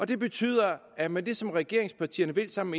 det betyder at med det som regeringspartierne vil sammen